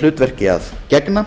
hlutverki að gegna